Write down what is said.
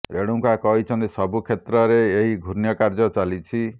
ରେଣୁକା କହିଛନ୍ତି ସବୁ କ୍ଷେତ୍ରରେ ଏହି ଘୃଣ୍ୟ କାର୍ଯ୍ୟ ଚାଲିଛି